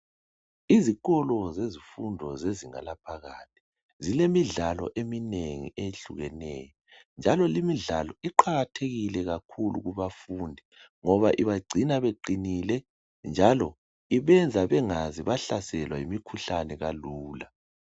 Izikolo zezifundo zezinga laphakathi, zilemidlalo eminengi eyehlukeneyo, njalo limidlalo iqajathekile kakhulu kubafundi ngoba ibagcina beqinile, njalo ibenza bengaze bahlaselwa yimikhuhlane kalula.